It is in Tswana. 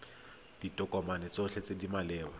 ditokomane tsotlhe tse di maleba